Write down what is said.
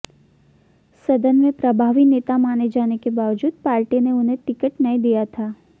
सदन में प्रभावी नेता माने जाने के बावजूद पार्टी ने उन्हें टिकट नहीं दिया था